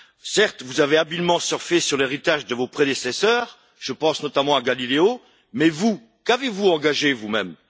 Certes, vous avez habilement surfé sur l'héritage de vos prédécesseurs, je pense notamment à Galileo, mais vous, qu'avez vous engagé vous même?